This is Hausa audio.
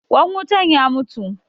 Ƙwan wutan ya mutu.